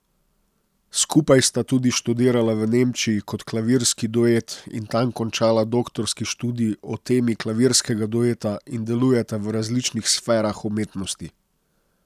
Skupaj sta tudi študirala v Nemčiji kot klavirski duet in tam končala doktorski študij o temi klavirskega dueta in delujeta v različnih sferah umetnosti.